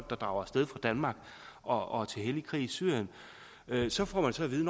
der drager af sted fra danmark og til hellig krig i syrien så får man så at vide